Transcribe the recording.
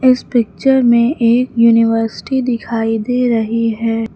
इस पिक्चर में एक यूनिवर्सिटी दिखाई दे रही है।